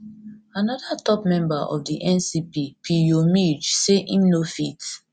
anoda top member of di ncp pirjo mlj say im no fit no fit